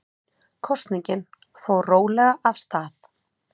Kosningin fór rólega af stað